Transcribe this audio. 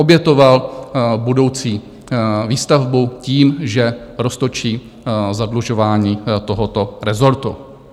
Obětoval budoucí výstavbu tím, že roztočí zadlužování tohoto rezortu.